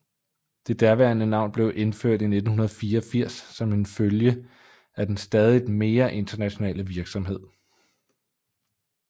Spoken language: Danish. Det nuværende navn blev indført i 1984 som en følge af den stadigt mere internationale virksomhed